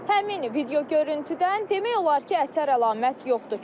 Həmin video görüntümdən demək olar ki, əsər əlamət yoxdur.